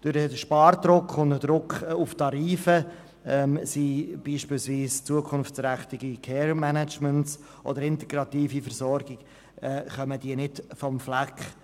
Durch den Spardruck und den Druck auf die Tarife kommen beispielsweise zukunftsträchtige Care-Management- oder integrative Versorgungsmodelle nicht vom Fleck.